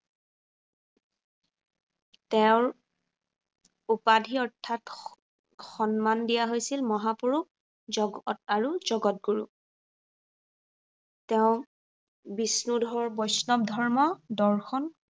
তেওঁৰ উপাধি অৰ্থাৎ সন্মান দিয়া হৈছিল মহাপুৰুষ, জগত আৰু জগত গুৰু। বিষ্ণুধৰ বৈষ্ণৱ ধৰ্ম দৰ্শন